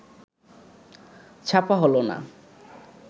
ছাপা হলো না